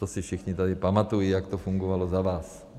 To si všichni tady pamatují, jak to fungovalo za vás.